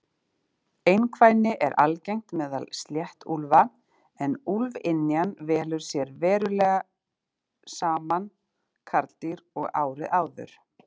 Einkvæni er algengt meðal sléttuúlfa en úlfynjan velur sér venjulega sama karldýr og árið áður.